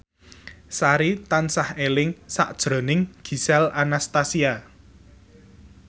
Sari tansah eling sakjroning Gisel Anastasia